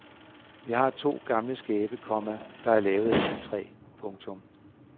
Vi har to gamle skabe, komma der er lavet af egetræ. punktum